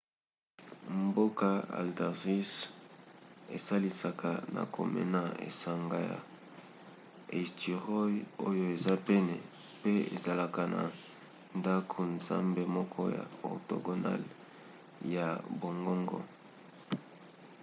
mboka haldarsvík esalisaka na komona esanga ya eysturoy oyo eza pene pe ezalaka na ndako-nzambe moko ya octogonale ya bongobongo